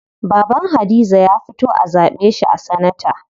Baban Hadiza ya fito a zaɓe shi a sanata.